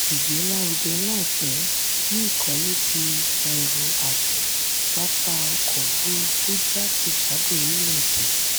ìgbé lárugẹ láìpẹ̀ ní ìkólé ti ẹrù-àgbẹ̀ pápá ọkọ̀ òfuurufú jákèjádò orílẹ̀-èdè